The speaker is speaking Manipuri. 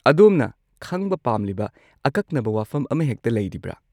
ꯑꯗꯣꯝꯅ ꯈꯪꯕ ꯄꯥꯝꯂꯤꯕ ꯑꯀꯛꯅꯕ ꯋꯥꯐꯝ ꯑꯃꯍꯦꯛꯇ ꯂꯩꯔꯤꯕ꯭ꯔꯥ?